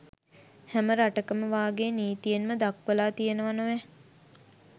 හැම රටකම වාගේ නිතීයෙන්ම දක්වලා තියෙනවා නොවැ